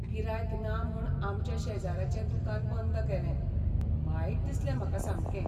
गिरायक ना म्हूण आमच्या शेजराचें दुकान बंद केलें, वायट दिसलें म्हाका सामकें.